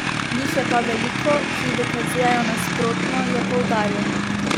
Jih je pa veliko, ki dokazujejo nasprotno, je poudaril.